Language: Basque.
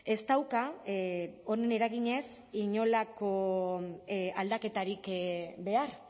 ez dauka honen eraginez inolako aldaketarik behar